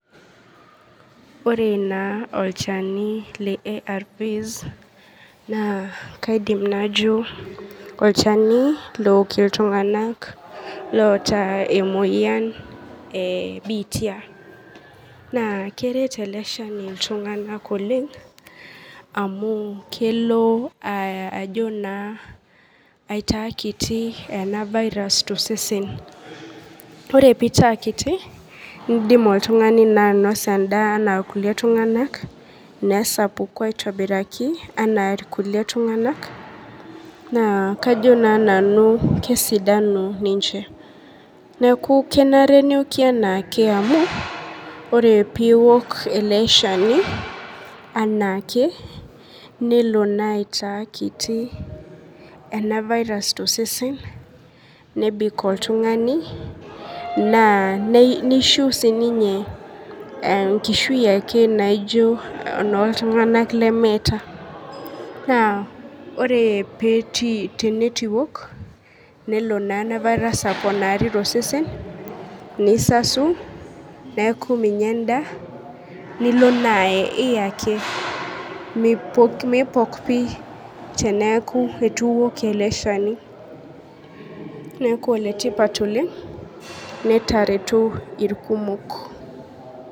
Ore na olchani le arvs na kaidim najo olchani ook ltung'anak ooata enoyian e bitia. Nakeret eleshani ltung'anak oleng'amu kelo aitaa kiti ena virus ore pitaakiti nidim na oltung'ani ainasa endaa ana irkulie tung'anak nesapuku ana irkulie tung'anak na kajo na nanu kesidanu ninche. neaku kenare neoki anaake amu ore piok eleshani anaake nelobaitaa kiti ena virus tosesen nebik oltung'ani na nishu na sinye enkishui ake naijo eno ltung'anak lee meeta na ore tinituiok nelo naa ena virus aponari to tosesen nisasu neaku minya endaa nilo naa ae niye ake mipok teitu iwok eleshani neaku enetipat oleng' netareto irkumok.